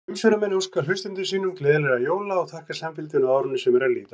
Umsjónarmenn óska hlustendum sínum gleðilegra jóla og þakka samfylgdina á árinu sem er að líða!